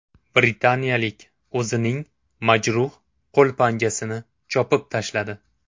Britaniyalik o‘zining majruh qo‘l panjasini chopib tashladi.